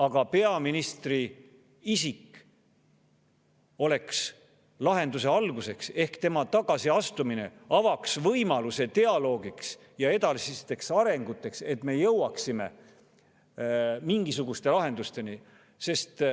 Aga peaministri oleks lahenduse alguseks ehk tema tagasiastumine avaks võimaluse dialoogiks ja edasiseks arenguks, et me jõuaksime mingisuguste lahendusteni.